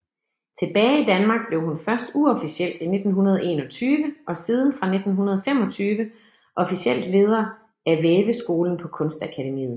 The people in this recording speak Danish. Tilbage i Danmark blev hun først uofficielt i 1921 og siden fra 1925 officielt leder af af Væveskolen på Kunstakademiet